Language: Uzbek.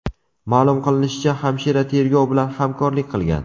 Ma’lum qilinishicha, hamshira tergov bilan hamkorlik qilgan.